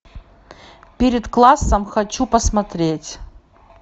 перед классом хочу посмотреть